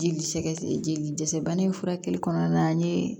Jeli sɛgɛn jeli dɛsɛ bana in furakɛli kɔnɔna na an ye